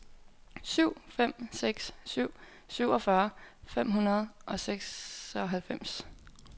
syv fem seks syv syvogfyrre fem hundrede og seksoghalvfems